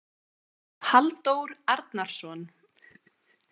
Halldór Arnarsson